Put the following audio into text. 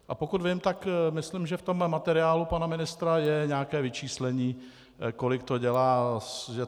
A pokud vím, tak myslím, že v tomhle materiálu pana ministra je nějaké vyčíslení, kolik to dělá.